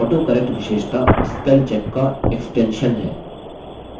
autocorrect विशेषता spellcheck का extension विस्तार है